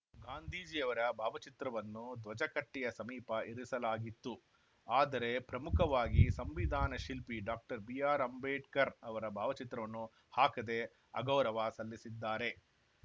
ಗಾಂಧೀಜಿಯವರ ಭಾವಚಿತ್ರವನ್ನು ಧ್ವಜಕಟ್ಟೆಯ ಸಮೀಪ ಇರಿಸಲಾಗಿತ್ತು ಆದರೆ ಪ್ರಮುಖವಾಗಿ ಸಂವಿಧಾನ ಶಿಲ್ಪಿ ಡಾಕ್ಟರ್ ಬಿಆರ್‌ಅಂಬೇಡ್ಕರ್‌ ಅವರ ಭಾವಚಿತ್ರವನ್ನು ಹಾಕದೆ ಅಗೌರವ ಸಲ್ಲಿಸಿದ್ದಾರೆ